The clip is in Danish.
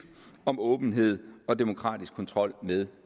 om åbenhed og demokratisk kontrol med